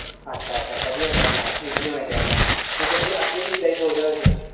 ਅੱਛਾ ਅੱਛਾ ਵਧੀਆ ਗੱਲ ਆ ਹੁਣ ਤੁਸੀ ਅੱਗੇ ਵੀ ਐਵੇ ਦੀ ਸੋਚ ਰੱਖਦੇ ਹੋ